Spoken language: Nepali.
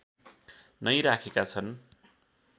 नै राखेका छन्